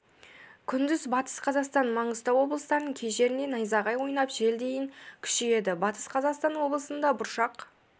күндіз батыс қазақстан маңғыстау облыстарының кей жерінде найзағай ойнап жел дейін күшейеді батыс қазақстан облысында бұршақ